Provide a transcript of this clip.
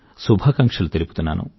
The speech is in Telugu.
శుభాకాంక్షలు తెలుపుతున్నాను